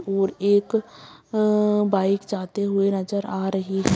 और एक हम्म्म्म बाइक जाते हुए नजर आ रही है।